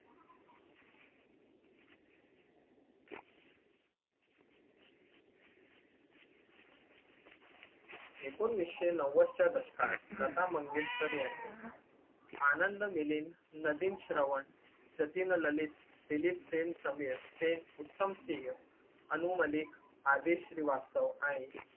ऐकोनिसशे नव्वद च्या दशकात लता मंगेशकर यांनी आनंद मिलिंद, नदीम श्रवण, जतीन ललित, दिलीप सेन समीर ते उत्तमसिंग, अनु मलिक आदेश श्रीवास्तव आणि